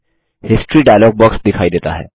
history dialog box दिखाई देता है